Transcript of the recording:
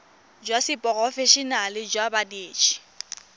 jwa seporofe enale jwa banetshi